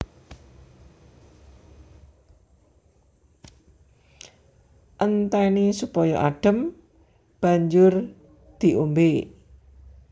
Entèni supaya adhem banjur diombé